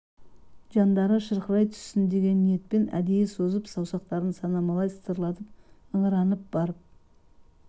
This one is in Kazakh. жандары шырқырай түссін деген ниетпен әдейі созып саусақтарын санамалай сытырлатып ыңыранып барып